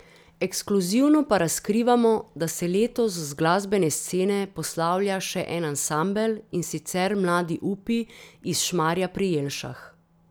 Ekskluzivno pa razkrivamo, da se letos z glasbene scene poslavlja še en ansambel, in sicer Mladi upi iz Šmarja pri Jelšah.